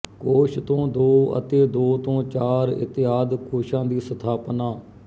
ਕੋਸ਼ ਤੋਂ ਦੋ ਅਤੇ ਦੋ ਤੋਂ ਚਾਰ ਇਤਿਆਦਿ ਕੋਸ਼ਾਂ ਦੀ ਸਥਾਪਨਾ